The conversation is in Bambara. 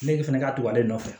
Ne de fana ka to ale nɔfɛ